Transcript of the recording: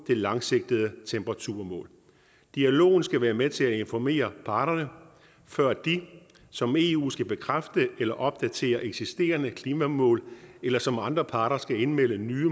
det langsigtede temperaturmål dialogen skal være med til at informere parterne før de som eu skal bekræfte eller opdatere eksisterende klimamål eller som andre parter skal indmelde nye